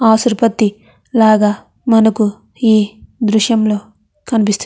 అసుప్రతి లాగ మనకు ఈ దృశ్యం లో కనిపిస్తుంది.